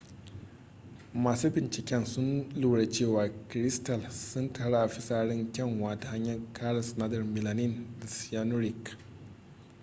masu binciken sun lura cewa kiristal sun taru a fisarin kyanwa ta hanyar karin sinadarin melanin da cyanuric